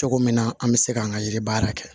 Cogo min na an bɛ se k'an ka yiri baara kɛ